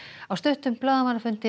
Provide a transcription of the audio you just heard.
á stuttum blaðamannafundi